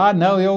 Ah, não.